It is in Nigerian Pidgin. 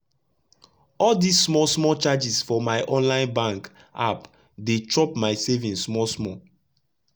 all dis small small charges for my online bank app dey chop my savings small small